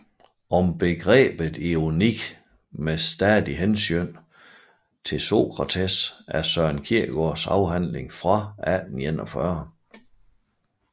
Om Begrebet Ironi med stadigt Hensyn til Socrates er Søren Kierkegaards afhandling fra 1841